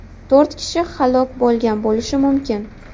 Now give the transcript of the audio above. To‘rt kishi halok bo‘lgan bo‘lishi mumkin.